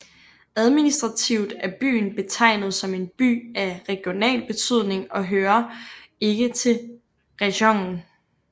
Administrativt er byen betegnet som en By af regional betydning og hører ikke til rajonen